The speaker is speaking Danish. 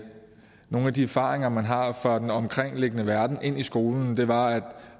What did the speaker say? nogle af de erfaringer man har fra den omkringliggende verden ind i skolen det var